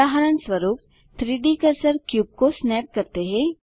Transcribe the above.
उदाहरणस्वरूप 3डी कर्सर पर क्यूब को स्नैप करते हैं